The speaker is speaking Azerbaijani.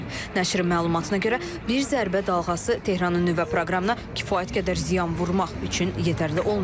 Nəşrin məlumatına görə bir zərbə dalğası Tehranın nüvə proqramına kifayət qədər ziyan vurmaq üçün yetərli olmayacaq.